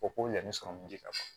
O ko yanni sɔmi ji ka